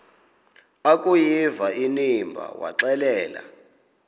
akuyiva inimba waxelela